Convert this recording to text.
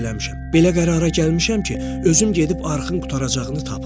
Belə qərara gəlmişəm ki, özüm gedib arxın qurtaracağını tapım.